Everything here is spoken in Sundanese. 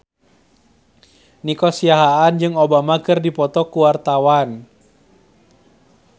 Nico Siahaan jeung Obama keur dipoto ku wartawan